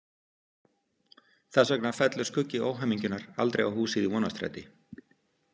Þess vegna fellur skuggi óhamingjunnar aldrei á húsið í Vonarstræti.